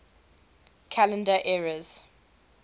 calendar eras